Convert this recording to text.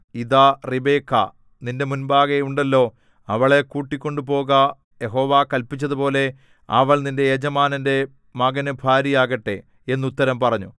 ഇതാ റിബെക്കാ നിന്റെ മുമ്പാകെ ഉണ്ടല്ലോ അവളെ കൂട്ടിക്കൊണ്ടുപോക യഹോവ കല്പിച്ചതുപോലെ അവൾ നിന്റെ യജമാനന്റെ മകനു ഭാര്യയാകട്ടെ എന്നുത്തരം പറഞ്ഞു